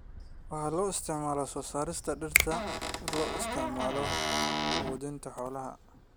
Waxaa loo isticmaalaa soo saarista dhirta loo isticmaalo quudinta xoolaha.